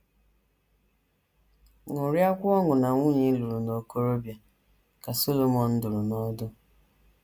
“ Ṅụrịakwa ọṅụ na nwunye ị lụrụ n’okorobia, ” ka Solomọn dụrụ n’ọdụ.